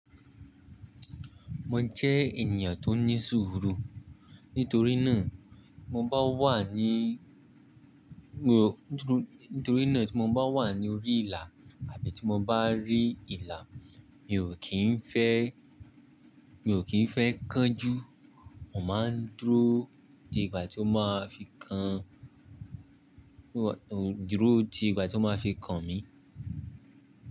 Mo jẹ́ ènìyàn tó ní ṣúúrù. Nítorí nàa mo bá wà ní, Nítorí náà tí mo bá wà ní orí ìlà àbí tí mo bá rí ìlà, mi ò kín fẹ́, mi ò kín fẹ́ kánjú. Mo máa ń dúró di ìgbà tí ó máa fi kàn, dúró di ìgbà tí ó máa fi kàn mi.